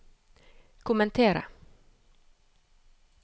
kommentere